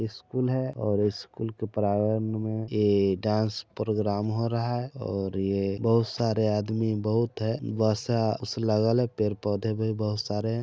ये स्कूल है और स्कूल के प्रागण में ये डांस प्रोग्राम हो रहा है और ये बहुत सारा आदमी बहुत है है पेड़-पौधे बहुत सारे है।